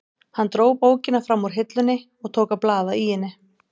Hann dró bókina fram úr hillunni og tók að blaða í henni.